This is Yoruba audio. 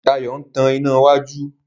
Dayo ń tán iná wájú.